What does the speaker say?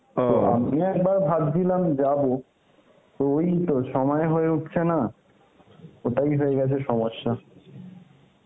তো আমিও একবার ভাবছিলাম যাব, তো ঐতো সময় হয়ে উঠছে না, ওটাই হয়ে গেছে সমস্যা.